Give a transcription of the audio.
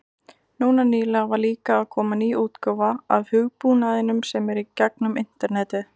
Núna nýlega var líka að koma ný útgáfa af hugbúnaðinum sem er í gegnum internetið.